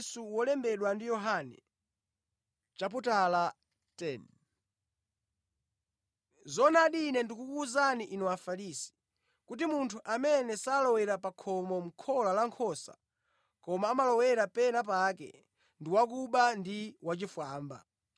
“Zoonadi, Ine ndikukuwuzani inu Afarisi, kuti munthu amene salowera pa khomo mʼkhola la nkhosa, koma amalowera pena pake ndi wakuba ndi wachifwamba.